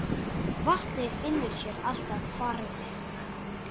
Vatnið finnur sér alltaf farveg.